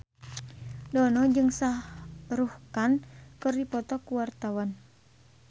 Dono jeung Shah Rukh Khan keur dipoto ku wartawan